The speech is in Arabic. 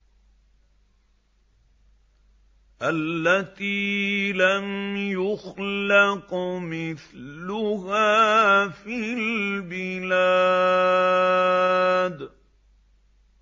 الَّتِي لَمْ يُخْلَقْ مِثْلُهَا فِي الْبِلَادِ